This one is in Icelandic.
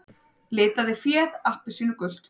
Litaði féð appelsínugult